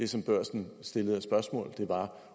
som børsen stillede var